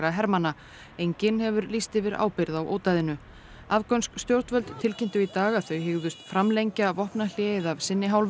hermanna enginn hefur lýst yfir ábyrgð á afgönsk stjórnvöld tilkynntu í dag að þau hygðust framlengja vopnahléið af sinni hálfu